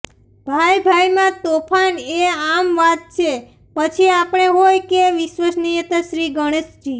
ભાઈ ભાઈમાં તોફાન એ આમ વાત છે પછી આપણે હોય કે વિશ્વનિયંતા શ્રી ગણેશજી